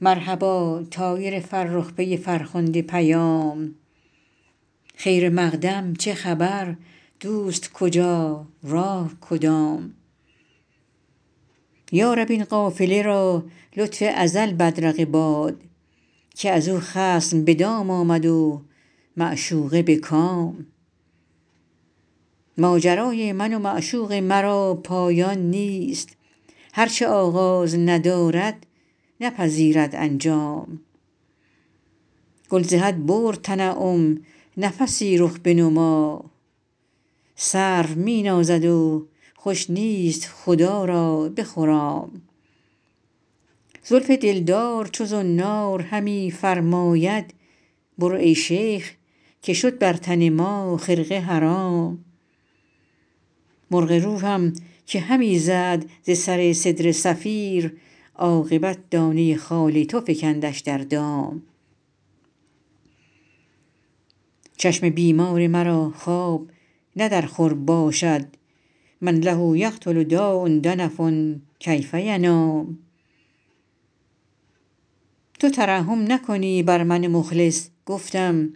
مرحبا طایر فرخ پی فرخنده پیام خیر مقدم چه خبر دوست کجا راه کدام یا رب این قافله را لطف ازل بدرقه باد که از او خصم به دام آمد و معشوقه به کام ماجرای من و معشوق مرا پایان نیست هر چه آغاز ندارد نپذیرد انجام گل ز حد برد تنعم نفسی رخ بنما سرو می نازد و خوش نیست خدا را بخرام زلف دلدار چو زنار همی فرماید برو ای شیخ که شد بر تن ما خرقه حرام مرغ روحم که همی زد ز سر سدره صفیر عاقبت دانه خال تو فکندش در دام چشم بیمار مرا خواب نه در خور باشد من له یقتل داء دنف کیف ینام تو ترحم نکنی بر من مخلص گفتم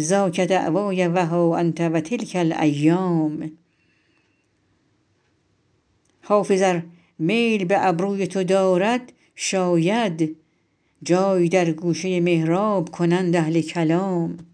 ذاک دعوای و ها انت و تلک الایام حافظ ار میل به ابروی تو دارد شاید جای در گوشه محراب کنند اهل کلام